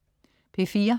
P4: